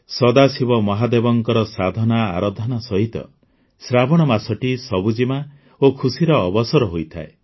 ସଦାଶିବ ମହାଦେବଙ୍କ ସାଧନାଆରାଧନା ସହିତ ଶ୍ରାବଣ ମାସଟି ସବୁଜିମା ଓ ଖୁସିର ଅବସର ହୋଇଥାଏ